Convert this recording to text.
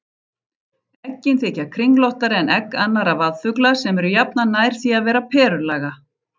Eggin þykja kringlóttari en egg annarra vaðfugla sem eru jafnan nær því að vera perulaga.